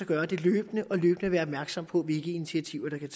gøre det løbende og løbende være opmærksom på hvilke initiativer der kan